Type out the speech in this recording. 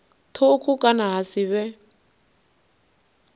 thukhu kana ha si vhe